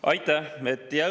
Aitäh!